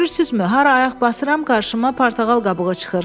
Görürsüzmü, hara ayaq basıram, qarşıma portağal qabığı çıxır.